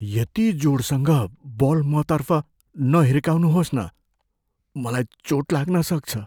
यति जोडसँग बल मतर्फ नहिर्काउनुहोस् न। मलाई चोट लाग्न सक्छ।